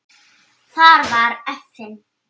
Þar var efinn.